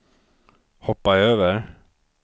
hoppa över